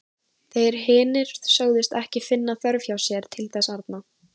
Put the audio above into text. Þeir hinir sögðust ekki finna þörf hjá sér til þess arna.